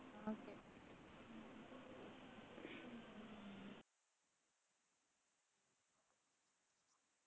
ആ okay